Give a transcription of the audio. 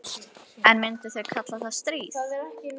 En myndu þau kalla það stríð?